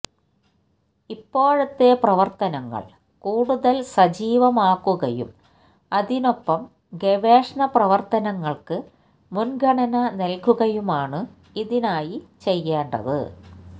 ഇപ്പോഴത്തെ പ്രവര്ത്തനങ്ങള് കൂടുതല് സജീവമാക്കുകയും അതിനൊപ്പം ഗവേഷണപ്രവര്ത്തനങ്ങള്ക്ക് മുന്ഗണന നല്കുകയുമാണ് ഇതിനായി ചെയ്യേണ്ടത്